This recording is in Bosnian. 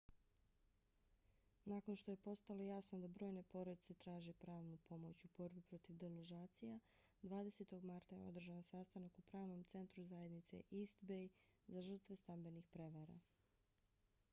nakon što je postalo jasno da brojne porodice traže pravnu pomoć u borbi protiv deložacija 20. marta je održan sastanak u pravnom centru zajednice east bay za žrtve stambenih prevara